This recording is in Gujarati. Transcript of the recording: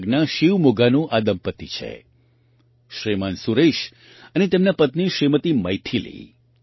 કર્ણાટકના શિવમોગાનું આ દંપતી છે શ્રીમાન સુરેશ અને તેમનાં પત્ની શ્રીમતી મૈથિલી